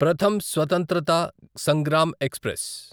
Pratham Swatantrata Sangram express